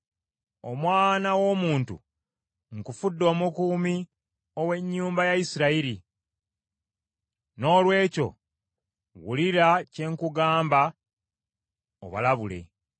“Omwana w’omuntu, nkufudde omukuumi ow’ennyumba ya Isirayiri, Noolwekyo wulira kye nkugamba, obalabule.